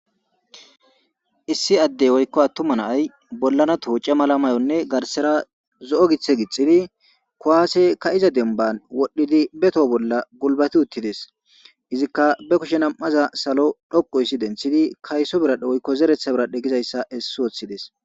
Issi addey woykko attuma naay bollana touce mala mayonne garsera zo'o giththe gixidi kuwaase ka iza demban wodhdhidi betoo bolla gulbati uttides izikka be kushe nam7aza salo dhoqu issi denthidi kayso biradhe woykko zeretha biradhe gizayssa essi woththides.